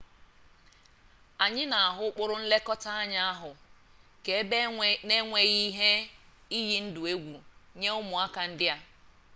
anyị na-ahụta ụkpụrụ nlekọta anya ahụ ka ebe n'enweghi ihe iyi ndụ egwu nye ụmụaka ndị a